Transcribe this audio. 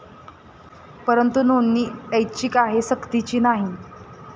परंतु नोंदणी ऐच्छिक आहे, सक्तीची नाही.